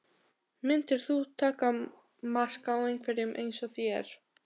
Myndir þú taka mark á einhverjum eins og þér?